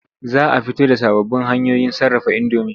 Za a fito da sababbin hanyoyin sarrafa indomi.